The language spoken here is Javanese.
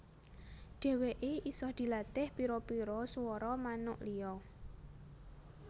Dèwèké isa dilatih pira pira suwara manuk liya